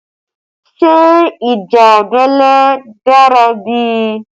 Ṣé ìjà abẹ́lé dára bí?